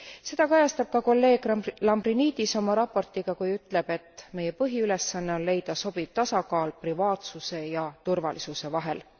Seda kajastab ka kolleeg Lambrinidis oma raportiga, kui ütleb, et meie põhiülesanne on leida sobiv tasakaal privaatsuse ja turvalisuse vahel.